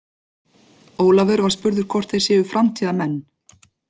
Ólafur var spurður hvort þeir séu framtíðarmenn?